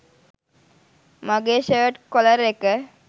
මගේ shirt collar එක